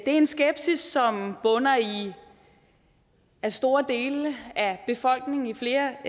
en skepsis som bunder i at store dele af befolkningen i flere